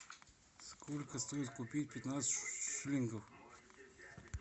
сколько стоит купить пятнадцать шиллингов